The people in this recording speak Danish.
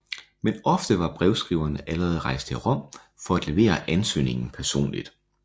Men ofte var brevskriveren allerede rejst til Rom for at levere ansøgningen personligt